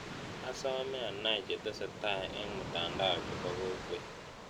Asomee anai chetesetai eng' mutandao chepo kokwet